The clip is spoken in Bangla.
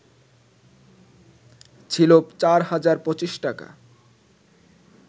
ছিল ৪ হাজার ২৫ টাকা